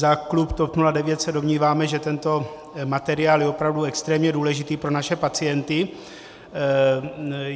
Za klub TOP 09 se domníváme, že tento materiál je opravdu extrémně důležitý pro naše pacienty.